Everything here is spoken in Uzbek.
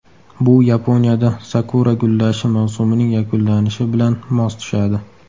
Bu Yaponiyada sakura gullashi mavsumining yakunlanishi bilan mos tushadi.